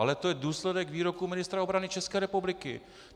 Ale to je důsledek výroku ministra obrany České republiky.